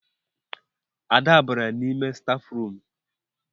Ada bara n'ime stafrum